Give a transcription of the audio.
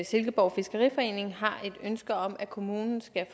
silkeborg fiskeriforening har et ønske om at kommunen skal